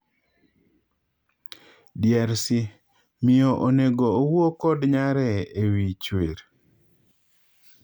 DRC:Miyo onego owuoo kod nyare ewii chwer?